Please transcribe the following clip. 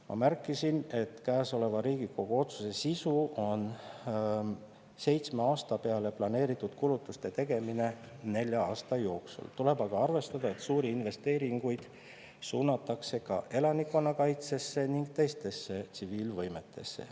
Ma märkisin, et käesoleva Riigikogu otsuse sisu on seitsme aasta peale planeeritud kulutuste tegemine nelja aasta jooksul, tuleb aga arvestada, et suuri investeeringuid suunatakse ka elanikkonnakaitsesse ning teistesse tsiviilvõimetesse.